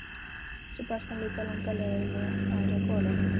Svo barst hann líka langar leiðir að með golunni.